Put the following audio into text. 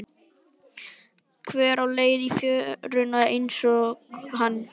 Einhver á leið í fjöruna einsog hann.